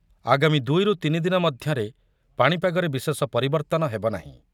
ଆଗାମୀ ଦୁଇ ରୁ ତିନି ଦିନ ମଧ୍ୟରେ ପାଣିପାଗରେ ବିଶେଷ ପରିବର୍ତ୍ତନ ହେବନାହିଁ।